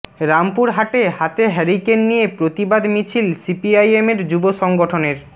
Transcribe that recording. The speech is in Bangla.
রামপুরহাটে হাতে হেরিক্যান নিয়ে প্রতিবাদ মিছিল সিপিআইএমের যুব সংগঠনের